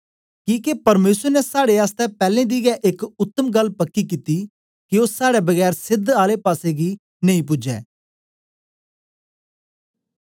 किके परमेसर ने साड़े आसतै पैलैं दी गै एक उत्तम गल्ल पक्की कित्ती के ओ साड़े बगैर सेध आले पासेगी नेई पुज्जै